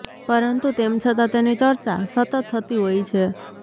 પરંતુ તેમ છતા તેની ચર્ચા સતત થતી હોય છે